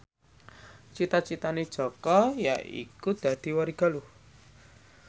cita citane Jaka yaiku dadi warigaluh